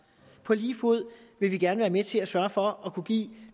på lige fod vil vi gerne være med til at sørge for at kunne give